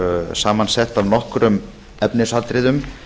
samansett af nokkrum efnisatriðum